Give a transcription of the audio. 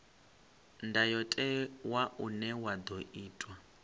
ndayotewa une wa ḓo itwa